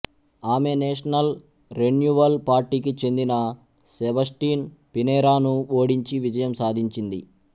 ఆమె national renewal పార్టీకి చెందిన సెబస్టిన్ పినెరా ను ఓడించి విజయం సాధించింది